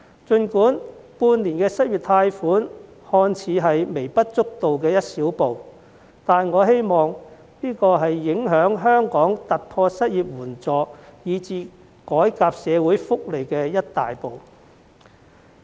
儘管半年的失業貸款計劃看似是微不足道的一小步，但我希望這是影響香港突破失業援助以至改革社會福利的一大步。